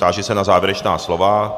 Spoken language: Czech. Táži se na závěrečná slova.